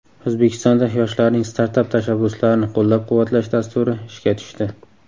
O‘zbekistonda yoshlarning startap tashabbuslarini qo‘llab-quvvatlash dasturi ishga tushdi.